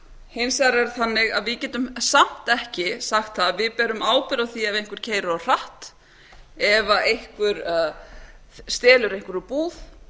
hins vegar er það þannig a við getum samt ekki sagt það að við berum ábyrgð á því ef einhver keyrir of hratt ef einhver stelur einhverju úr búð